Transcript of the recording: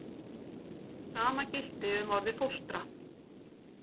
Sama gilti um orðið fóstra.